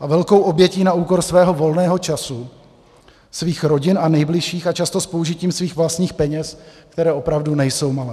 a velkou obětí na úkor svého volného času, svých rodin a nejbližších a často s použitím svých vlastních peněz, které opravdu nejsou malé.